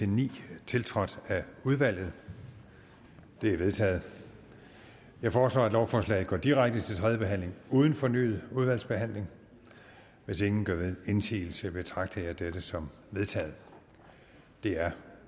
ni tiltrådt af udvalget de er vedtaget jeg foreslår at lovforslaget går direkte til tredje behandling uden fornyet udvalgsbehandling hvis ingen gør indsigelse betragter jeg dette som vedtaget det er